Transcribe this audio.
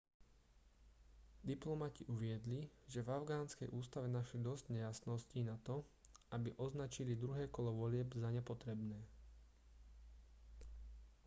diplomati uviedli že v afgánskej ústave našli dosť nejasností nato aby označili druhé kolo volieb za nepotrebné